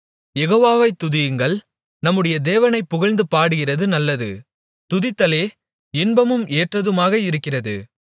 யெகோவாவை துதியுங்கள் நம்முடைய தேவனைப் புகழ்ந்து பாடுகிறது நல்லது துதித்தலே இன்பமும் ஏற்றதுமாக இருக்கிறது